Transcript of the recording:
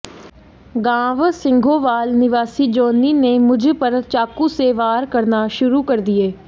गांव सिंघोवाल निवासी जोनी ने मुझ पर चाकू से वार करना शुरू कर दिए